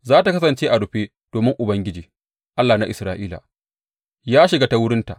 Za tă kasance a rufe domin Ubangiji, Allah na Isra’ila, ya shiga ta wurinta.